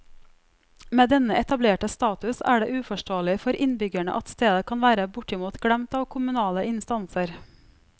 Med denne etablerte status er det uforståelig for innbyggerne at stedet kan være bortimot glemt av kommunale instanser.